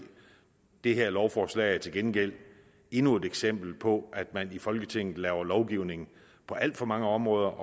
det her lovforslag er til gengæld endnu et eksempel på at man i folketinget laver lovgivning på alt for mange områder